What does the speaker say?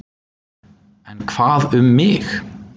En hvað um mig?